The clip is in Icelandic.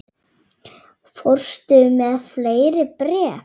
Fórstu með fleiri bréf?